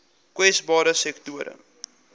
kwesbare sektore